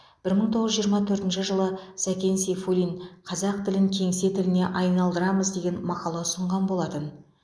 бір мың тоғыз жүз жиырма төртінші жылы сәкен сейфуллин қазақ тілін кеңсе тіліне айналдырамыз деген мақала ұсынған болатын